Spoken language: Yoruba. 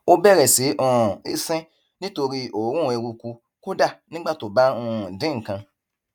ó bẹrẹ sí um í sín nítorí òórùn eruku kódà nígbà tó bá ń um dín nǹkan